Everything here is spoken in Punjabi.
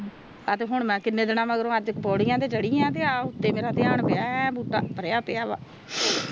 ਆਹ ਹੁਣ ਮੈਂ ਕੀਨੇ ਦੀਨਾ ਬਾਅਦ ਪੌੜੀਆਂ ਤੇ ਚੜੀ ਆ ਤੇ ਮੇਰਾ ਧਿਆਨ ਪਿਆ ਤੇ ਏ ਬੂਟਾ ਭਰਿਆ ਪਿਆ ਵਾ